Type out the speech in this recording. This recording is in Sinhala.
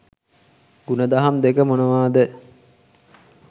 ගුණදහම් දෙක මොනවාද?